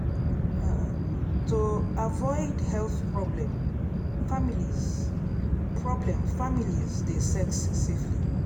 um to avoid health problem families problem families dey sex safely